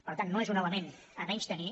per tant no és un element a menystenir